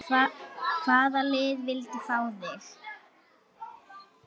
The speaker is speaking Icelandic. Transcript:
Hvaða lið vildu fá þig?